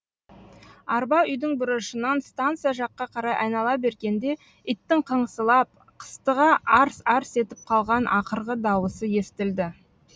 арба үйдің бұрышынан станция жаққа қарай айнала бергенде иттің қыңсылап қыстыға арс арс етіп қалған ақырғы дауысы естілді